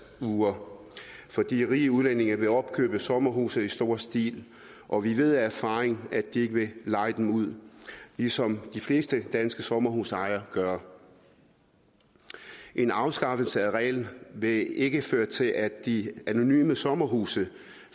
uger fordi rige udlændinge vil opkøbe sommerhuse i stor stil og vi ved af erfaring at de ikke vil leje dem ud ligesom de fleste danske sommerhusejere gør en afskaffelse af reglen vil ikke føre til at de anonyme sommerhuse